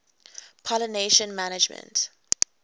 pollination management